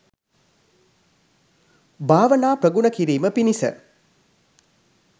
භාවනා ප්‍රගුණ කිරීම පිණිස